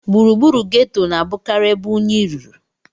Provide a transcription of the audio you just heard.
Gburugburu geto na-abụkarị ebe unyi ruru.